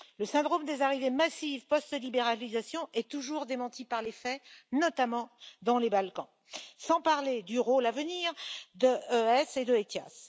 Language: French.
Le syndrome des arrivées massives post libéralisation est toujours démenti par les faits, notamment dans les Balkans, sans parler du rôle à venir de ES et de ETIAS.